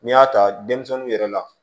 N'i y'a ta denmisɛnninw yɛrɛ la